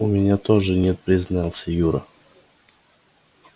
у меня тоже нет признался юра